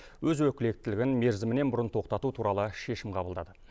өз өкілеттілігін мерзімінен бұрын тоқтату туралы шешім қабылдады